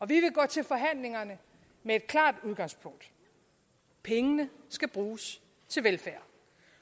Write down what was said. vil gå til forhandlingerne med et klart udgangspunkt pengene skal bruges til velfærd